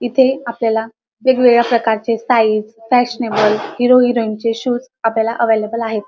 इथे आपल्याला वेगवेगळ्या प्रकारचे साइज फॅशनेबल हीरो हेरोईन चे शूज आपल्याला एवलेबल आहेत.